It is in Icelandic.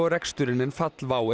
reksturinn en fall WOW